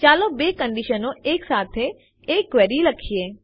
ચાલો બે કંડીશનો સાથે એક ક્વેરી લખીએ